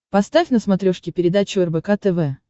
поставь на смотрешке передачу рбк тв